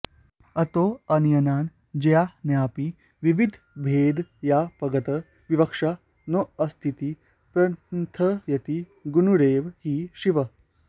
अतोऽणीयान् ज्यायानपि द्विविधभेदव्यपगता विवक्षा नोऽस्तीति प्रथयति गुणैरेव हि शिवः